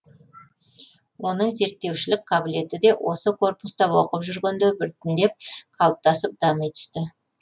оның зерттеушілік қабілеті де осы корпуста оқып жүргенде біртіндеп қалыптасып дами түсті